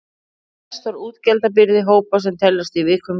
Mest var útgjaldabyrði hópa sem teljast í viðkvæmri stöðu.